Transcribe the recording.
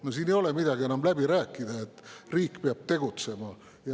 No siin ei ole enam midagi läbi rääkida, riik peab tegutsema.